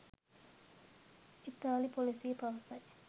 ඉතාලි පොලිසිය පවසයි